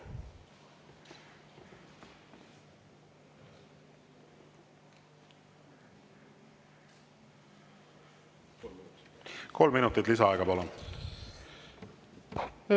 Kolm minutit lisaaega, palun!